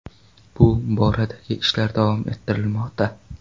Bu boradagi ishlar davom ettirilmoqda.